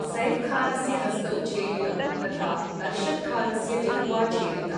सैफ् खानस्य हस्तौ छेदितौ, तथा अर्शद् खानस्य जिह्वा छेदिता।